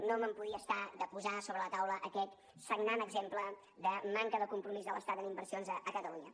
no me’n podia estar de posar a sobre la taula aquest sagnant exemple de manca de compromís de l’estat en inversions a catalunya